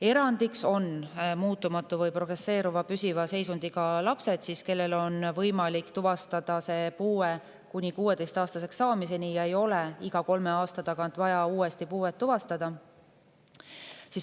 Erandiks on muutumatu või progresseeruva püsiva seisundiga lapsed, kellel on võimalik tuvastada puue kuni 16-aastaseks saamiseni ega ole iga kolme aasta tagant vaja uuesti puuet tuvastada.